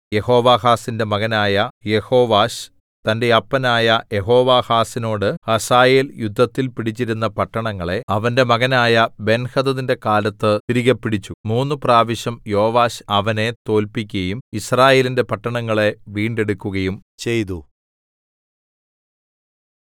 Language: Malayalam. യെഹോവാഹാസിന്റെ മകനായ യെഹോവാശ് തന്റെ അപ്പനായ യെഹോവാഹാസിനോട് ഹസായേൽ യുദ്ധത്തിൽ പിടിച്ചിരുന്ന പട്ടണങ്ങളെ അവന്റെ മകനായ ബെൻഹദദിന്റെ കാലത്ത് തിരികെ പിടിച്ചു മൂന്നുപ്രാവശ്യം യോവാശ് അവനെ തോല്പിക്കയും യിസ്രായേലിന്റെ പട്ടണങ്ങളെ വീണ്ടെടുക്കുകയും ചെയ്തു